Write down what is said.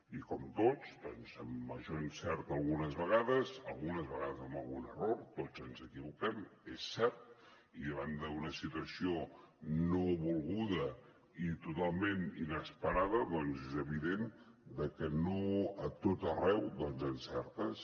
i com tots doncs amb major encert algunes vegades algunes vegades amb algun error tots ens equivoquem és cert i davant d’una situació no volguda i totalment inesperada doncs és evident que no a tot arreu encertes